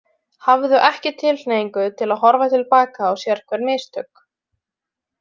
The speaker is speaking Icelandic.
Hafðu ekki tilhneigingu til að horfa til baka á sérhver mistök.